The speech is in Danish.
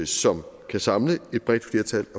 som kan samle et bredt flertal